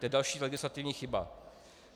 To je další legislativní chyba.